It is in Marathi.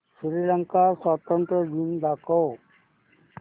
श्रीलंका स्वातंत्र्य दिन दाखव